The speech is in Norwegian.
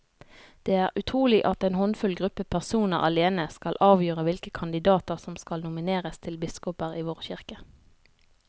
Det er utrolig at en håndfull gruppe personer alene skal avgjøre hvilke kandidater som skal nomineres til biskoper i vår kirke.